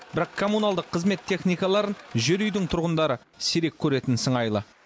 бірақ коммуналдық қызмет техникаларын жер үйдің тұрғындары сирек көретін сыңайлы